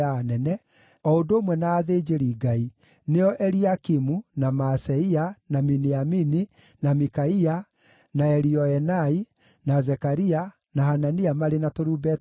o ũndũ ũmwe na athĩnjĩri-Ngai, nĩo Eliakimu, na Maaseia, na Miniamini, na Mikaia, na Elioenai, na Zekaria, na Hanania marĩ na tũrumbeta twao,